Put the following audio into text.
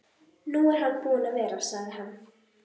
Nú er hann búinn að vera, sagði hann.